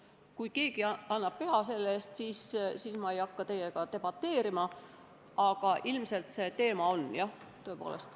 Kui keegi annab selle eest pea, siis ei hakka ma teiega debateerima, aga ilmselt see teema on üleval, jah, tõepoolest.